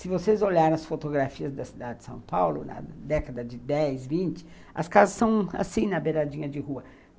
Se vocês olharem as fotografias da cidade de São Paulo, na década de dez, vinte, as casas são assim, na beiradinha de rua.